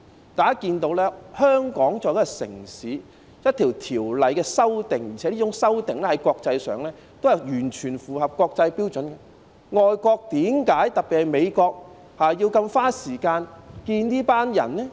大家可以看到，香港作為一個城市，我們對一項條例作出修訂，而且有關修訂在國際上也是完全符合國際標準的，為何外國，特別是美國，要如此花時間接見這些人呢？